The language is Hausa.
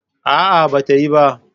A'a, ba ta yi ba.